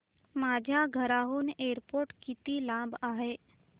माझ्या घराहून एअरपोर्ट किती लांब आहे